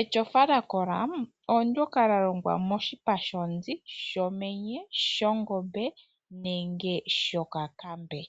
Etyofa lya kola oondyoka lya longwa moshipa shonzi, shomenye, shongombe nenge shokakambe.